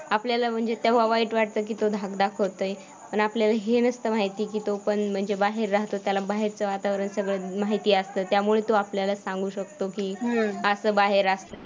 आपल्याला म्हणजे तेव्हा वाईट वाटतं की तो धाक दाखवतोय पण आपल्याला हे नसतं माहिती की तो पण म्हणजे बाहेर राहत होता त्याला बाहेरचं वातावरण सगळं माहिती असतं, त्यामुळे तो आपल्याला सांगू शकतो की असं बाहेर